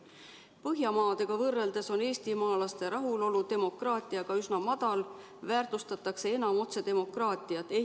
Põhjamaadega võrreldes on eestimaalaste rahulolu demokraatiaga üsna madal, väärtustatakse enam otsedemokraatiat.